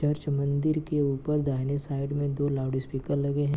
Church मंदिर के ऊपर दाहिने साइड मे दो लाउड स्पीकर लगे है।